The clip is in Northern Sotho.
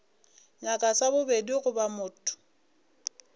nyaka sa bobedi goba motho